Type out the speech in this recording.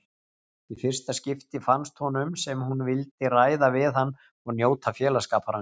Í fyrsta skipti fannst honum sem hún vildi ræða við hann og njóta félagsskapar hans.